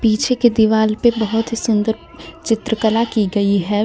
पीछे की दिवाल पे बोहोत ही सुन्दर चित्रकला की गयी हे.